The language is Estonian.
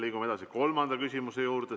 Liigume edasi kolmanda küsimuse juurde.